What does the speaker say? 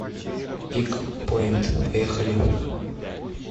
пикпоинт поехали